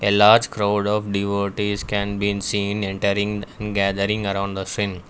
a large crowd of devotees can been seen entering and gathering around the .